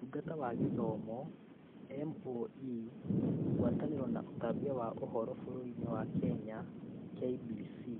Ũtungata wa Gĩthomo (MoE), Ngwatanĩro ya ũtambia wa Ũhoro ya bũrũri wa Kenya (KBC)